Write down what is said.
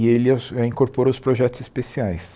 E ele incorporou os projetos especiais.